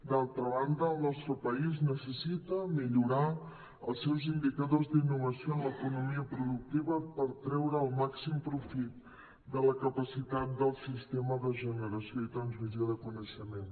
d’altra banda el nostre país necessita millo·rar els seus indicadors d’innovació en l’economia productiva per treure el màxim profit de la capacitat del sistema de generació i transmissió de coneixement